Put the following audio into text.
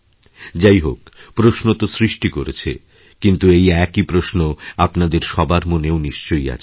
যাই হোক প্রশ্ন তো সৃষ্টি করেছে কিন্তু এই একই প্রশ্নআপনাদের সবার মনেও নিশ্চয়ই আছে